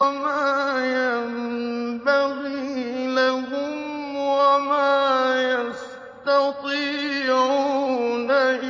وَمَا يَنبَغِي لَهُمْ وَمَا يَسْتَطِيعُونَ